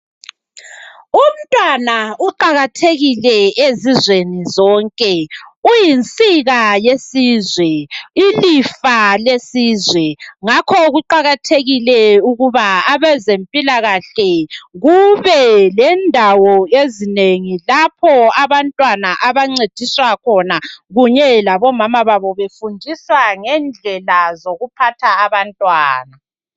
Umntwana uqakathekile ezizweni zonke uyinsika yesizwe ilifa lesizwe ngakho kuqakathekile ukuba abezempilakahle kube lendawo ezinengi lapho abantwana abancediswa khona kunye labomama babo befundisa ngendlela zokuphatha abantwana.